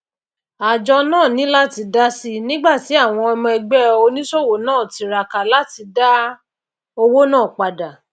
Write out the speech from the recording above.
ájo náà ní láti dásì nígbàtí àwon ọmọ ẹgbé onísòwò náà tiraka láti dá owó náà padà